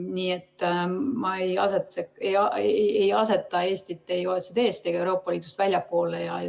Nii et ma ei aseta Eestit ei OECD‑st ega ka Euroopa Liidust väljapoole.